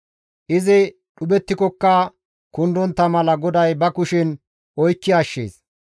Izi dhuphettikokka kundontta mala GODAY ba kushen oykki ashshees.